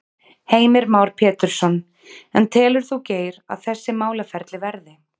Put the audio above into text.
Heimir Már Pétursson: En telur þú Geir að þessi málaferli verði?